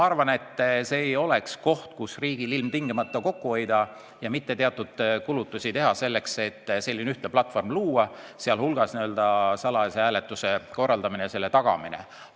See ei oleks koht, kus riigil ilmtingimata on vaja kokku hoida, mitte teha teatud kulutusi selleks, et luua ühtne platvorm, kus oleks tagatud ka salajane hääletamine.